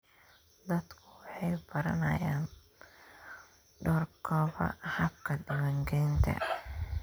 Dadku waxay baranayaan doorkooda habka diiwaangelinta.